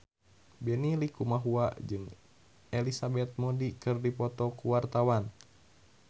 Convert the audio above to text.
Benny Likumahua jeung Elizabeth Moody keur dipoto ku wartawan